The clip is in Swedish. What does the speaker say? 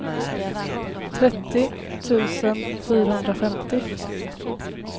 trettio tusen fyrahundrafemtio